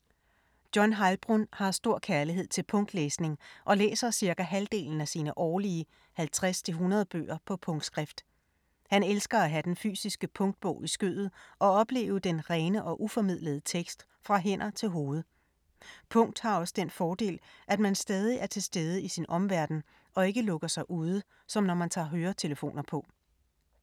John Heilbrunn har stor kærlighed til punktlæsning og læser cirka halvdelen af sine årlige 50-100 bøger på punktskrift. Han elsker at have den fysiske punktbog i skødet og opleve den rene og uformidlede tekst fra hænder til hoved. Punkt har også den fordel, at man stadig er tilstede i sin omverden og ikke lukker sig ude, som når man tager høretelefoner på.